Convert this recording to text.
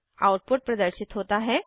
output प्रदर्शित होता है